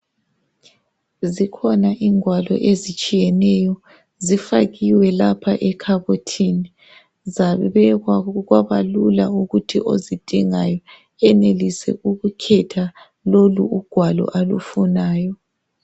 Zikhona ingwalo ezitshiyeneyo zifakiwe lapha ekhabothini, zabekwa kwabalula ukuthi ozidingayo enelise ukukhetha loku alufunayo.